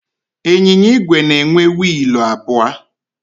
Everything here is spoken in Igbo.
Ịnyịnya igwe na-enwe wiilụ abụọ.